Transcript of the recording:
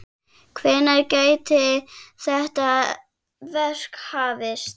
Hvenær gæti þetta verk hafist?